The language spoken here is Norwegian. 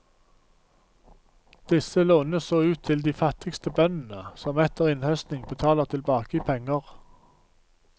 Disse lånes så ut til de fattigste bøndene, som etter innhøstning betaler tilbake i penger.